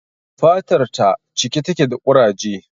Fatar ta cike take da ƙuraje